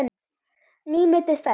Nýmetið ferskt.